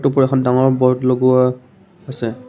ওপৰত এখন ডাঙৰ ব'ৰ্ড লগোৱা আছে।